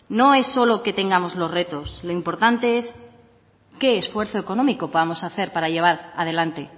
no es solo que tengamos los retos lo importante es qué esfuerzo económico vamos a hacer para llevar adelante